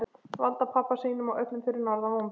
Valda pabba sínum og öllum fyrir norðan vonbrigðum.